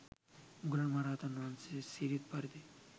මුගලන් මහ රහතන් වහන්සේ සිරිත් පරිදි